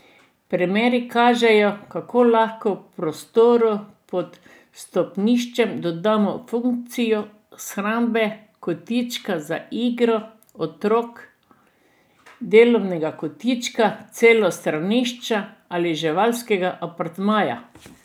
Primeri kažejo, kako lahko prostoru pod stopniščem dodamo funkcijo shrambe, kotička za igro otrok, delovnega kotička, celo stranišča ali živalskega apartmaja.